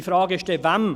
Meine Frage ist dann: